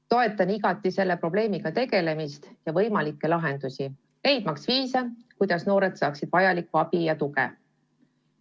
Ma toetan igati selle probleemiga tegelemist ja võimalikke lahendusi, leidmaks viise, kuidas noored saaksid vajalikku abi ja tuge.